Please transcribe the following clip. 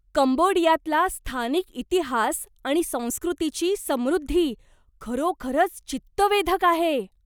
कंबोडियातला स्थानिक इतिहास आणि संस्कृतीची समृद्धी खरोखरच चित्तवेधक आहे.